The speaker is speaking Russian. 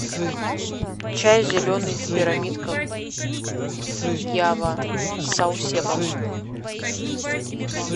чай зеленый в пирамидках ява саусепом